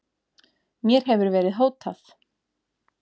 Mér hefur verið hótað